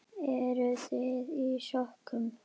Eruð þið í sokkum?